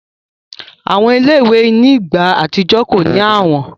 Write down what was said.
Awọn ile-iwe ni igba atijọ ko ni awọn